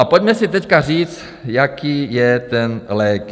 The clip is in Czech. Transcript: A pojďme si teď říct, jaký je ten lék.